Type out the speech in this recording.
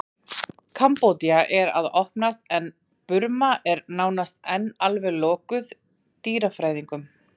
Kambódía er að opnast en Burma er enn nánast alveg lokuð dýrafræðingum.